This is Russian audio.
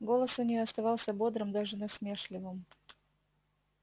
голос у неё оставался бодрым даже насмешливым